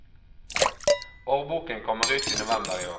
Årboken utkommer i november i år.